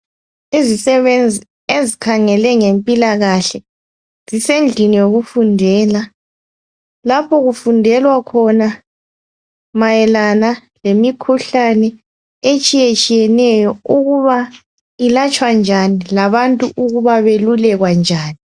Izisebenzi ezikhangele ngempilakahle zisendlini yokufundela, lapho kufundelwa khona mayelana lemikhuhlane etshiyatshiyeneyo ukuba ilatshwa njani labantu ukuba belulekwa njani.